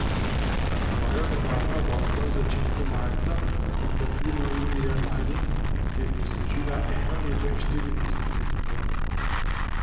S svojo nevarno vožnjo v začetku marca in tatvino junija lani si je prislužila eno leto in štiri mesece zapora.